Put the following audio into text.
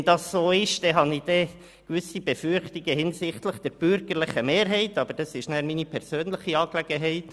Wenn dem so ist, habe ich gewisse Befürchtungen hinsichtlich der bürgerlichen Mehrheit, doch das ist meine persönliche Angelegenheit.